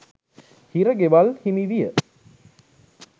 හිර ගෙවල් හිමිවිය.